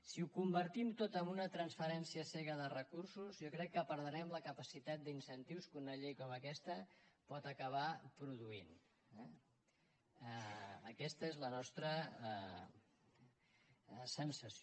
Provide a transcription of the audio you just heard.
si ho convertim tot en una transferència cega de recursos jo crec que perdrem la capacitat d’incentius que una llei com aquesta pot acabar produint eh aquesta és la nostra sensació